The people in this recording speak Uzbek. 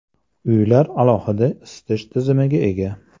Uylar alohida isitish tizimiga ega.